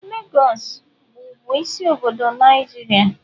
Lagos wụ bụ isi obodo Nigeria.